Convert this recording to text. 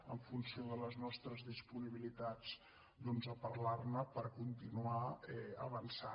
en funció de les nostres disponibilitats doncs a parlarne per continuar avançant